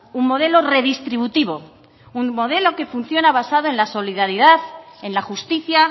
un modelo redistributivo un modelo que funciona basado en la solidaridad en la justicia